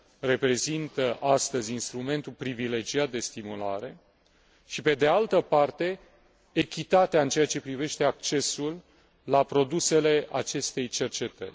reprezintă astăzi instrumentul privilegiat de stimulare și, pe de altă parte, echitatea în ceea ce privește accesul la produsele acestei cercetări.